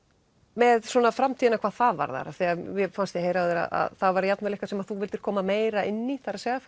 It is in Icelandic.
með framtíðina hvað það varðar mér fannst ég heyra á þér að það var eitthvað sem þú vildir koma meira inn í það er að